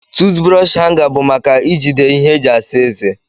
toothbrọsh hanga bu maka ijide ihe eji asa eze.